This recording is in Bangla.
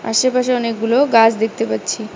আশেপাশে অনেকগুলো গাছ দেখতে পাচ্ছি।